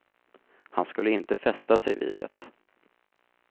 Han skulle inte fästa sig vid det.